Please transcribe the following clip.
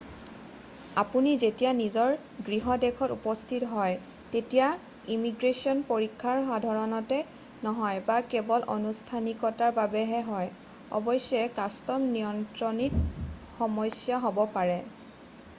আপুনি যেতিয়া নিজৰ গৃহ দেশত উপস্থিত হয় তেতিয়া ইমিগ্ৰেশ্যন পৰীক্ষা সাধাৰণতে নহয় বা কেৱল আনুষ্ঠানিকতাৰ বাবেহে হয় অৱশ্যে কাষ্টম নিয়ন্ত্ৰণত সমস্যা হ'ব পাৰে